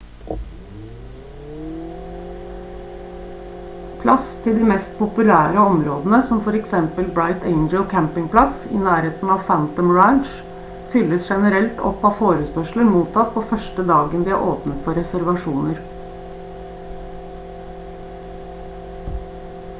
plass til de mest populære områdene som for eksempel bright angel campingplass i nærheten av phantom ranch fylles generelt opp av forespørsler mottatt på første dagen de er åpnet for reservasjoner